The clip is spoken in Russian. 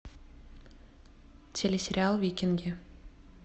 телесериал викинги